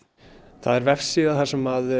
það er vefsíða þar sem